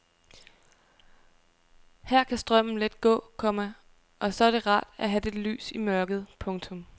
Her kan strømmen let gå, komma og så er det rart at have lidt lys i mørket. punktum